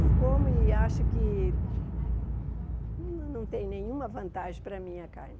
Não como e acho que não tem nenhuma vantagem para mim a carne.